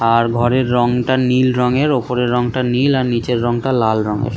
আর ঘরের রঙটা নীল রঙের ওপরের রঙটা নীল আর নিচের রঙটা লাল রঙের।